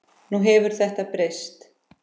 Nú hefur þetta breyst.